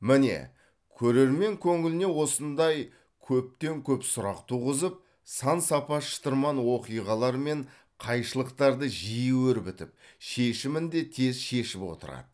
міне көрермен көңіліне осындай көптен көп сұрақ туғызып сан сапа шытырман оқиғалар мен қайшылықтарды жиі өрбітіп шешімін де тез шешіп отырады